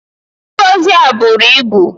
Ngọzị a buru ibu!